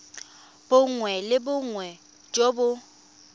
bongwe le bongwe jo bo